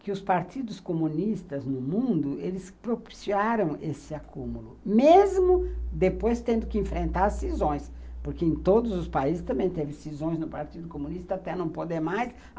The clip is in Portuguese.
que os partidos comunistas no mundo, eles propiciaram esse acúmulo, mesmo depois tendo que enfrentar as cisões, porque em todos os países também teve cisões no Partido Comunista, até não poder mais.